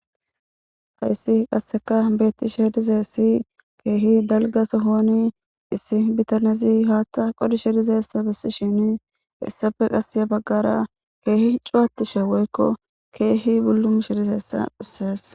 hayssi qasseka beettishe dizesi keehi dalga sohoni issi bitanezi haatta qodishe dizeessa bissi shini essafe qasya baggara keehi cuwattishe woykko keehi bullumushe dizessa phissees